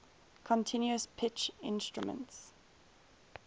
continuous pitch instruments